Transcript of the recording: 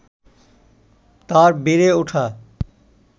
তাঁর বেড়ে ওঠা